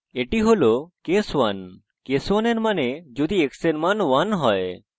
এটি case 1 case 1 এর means হল যদি x এর মান 1 হয়